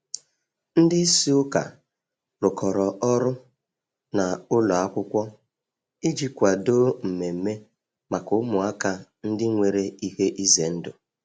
Ndị isi ụka rụkọrọ ọrụ na ụlọ akwụkwọ iji kwadoo mmemme maka ụmụaka ndị nwere ihe ize ndụ.